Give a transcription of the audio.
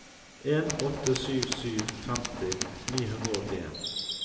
en åtte sju sju femti ni hundre og åttien